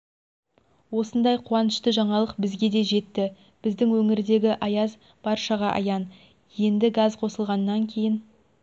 осындай қуанышты жаңалық бізге де жетті біздің өңірдегі аяз баршаға аян енді газ қосылғаннан кейін